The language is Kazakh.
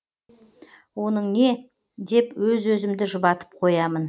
оның не деп өз өзімді жұбатып қоямын